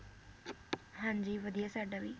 ਹਾਂਜੀ ਵਧੀਆ ਸਾਡਾ ਵੀ